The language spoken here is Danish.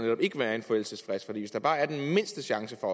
ikke være en forældelsesfrist for hvis der bare er den mindste chance for